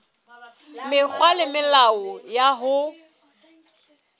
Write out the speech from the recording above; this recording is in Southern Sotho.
mekgwa le melao ya ho